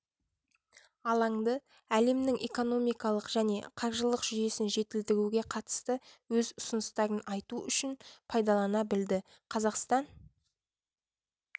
алаңды әлемнің экономикалық және қаржылық жүйесін жетілдіруге қатысты өз ұсыныстарын айту үшін пайдалана білді қазақстан